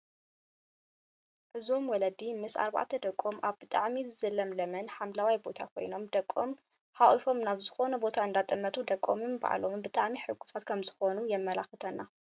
እዞም ወለዲ ምስ ኣርባዕተ ደቆም ኣብ ብጣዕሚ ዝለምለመን ሓምለዋይን ቦታ ኮይኖም ደቆም ሓቒፎም ናብ ዝኾነ ቦታ እንዳጠመቱ ደቆምን ንባዕሎምን ብጣዕሚ ሕጉሳት ከም ዝኾኑ የመላክተና፡፡